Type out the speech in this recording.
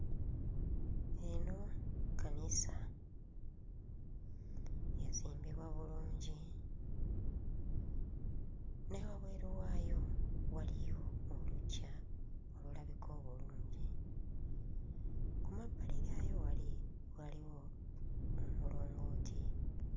Eno kkanisa. Yazimbibwa bulungi, ne wabweru waayo waliyo oluggya olulabika obulungi. Ku mabbali gaayo wali, waliwo omulongooti.